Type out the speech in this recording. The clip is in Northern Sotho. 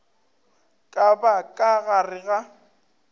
ka ba ka gare ga